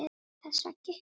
Þessa veggi.